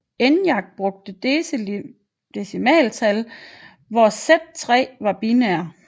ENIAC brugte decimaltal hvor Z3 var binær